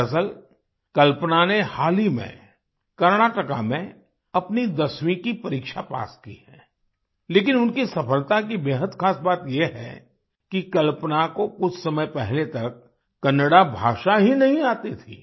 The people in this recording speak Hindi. दरअसल कल्पना ने हाल ही में कर्नाटका में अपनी 10वीं की परीक्षा पास की है लेकिन उनकी सफलता की बेहद खास बात ये है कि कल्पना को कुछ समय पहले तक कन्नड़ा भाषा ही नहीं आती थी